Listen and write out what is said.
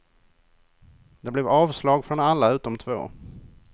Det blev avslag från alla utom två.